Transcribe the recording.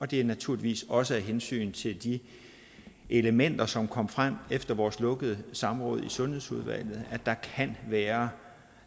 det er naturligvis også af hensyn til de elementer som kom frem efter vores lukkede samråd i sundhedsudvalget at der kan være